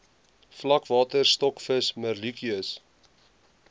vlakwater stokvis merluccius